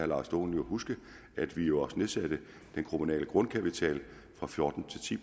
lars dohn huske at vi jo også nedsatte den kommunale grundkapital fra fjorten til ti